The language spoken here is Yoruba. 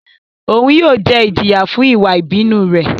Oun yóò jẹ ijiya fun iwa ibinu rẹ